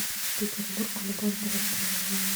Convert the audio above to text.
петербург любовь до востребования